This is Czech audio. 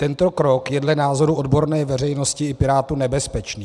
Tento krok je dle názoru odborné veřejnosti i Pirátů nebezpečný.